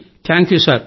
thank you sir